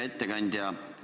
Hea ettekandja!